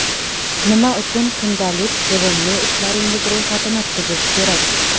Nima uchun kundalik sevimli ishlaringiz ro‘yxatini tuzish kerak?.